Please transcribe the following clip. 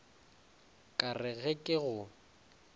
ka re ge ke go